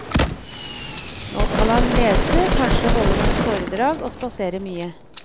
Nå skal han lese, kanskje holde noen foredrag og spasere mye.